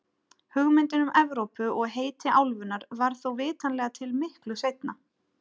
Hugmyndin um Evrópu og heiti álfunnar varð þó vitanlega til miklu seinna.